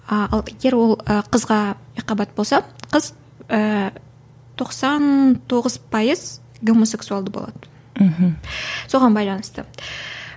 а ал егер ол ы қызға екіқабат болса қыз ыыы тоқсан тоғыз пайыз гомосексуалды болады мхм соған байланысты